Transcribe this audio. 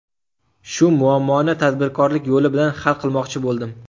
Shu muammoni tadbirkorlik yo‘li bilan hal qilmoqchi bo‘ldim.